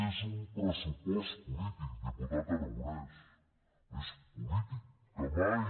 és un pressupost polític diputat aragonès més polític que mai